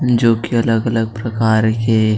जो की अलग-अलग प्रकार के--